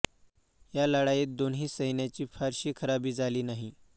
या लढाईत दोन्ही सैन्यांची फारशी खराबी झाली नाही